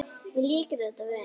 Mér líkar þetta vel.